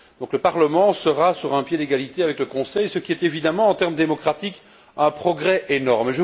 Le Parlement sera donc sur un pied d'égalité avec le Conseil, ce qui est évidemment, en termes démocratiques, un progrès énorme.